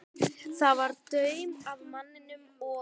Það var daunn af manninum, og